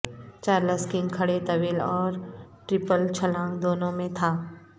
Charles King کھڑے طویل اور ٹرپل چھلانگ دونوں میں تھا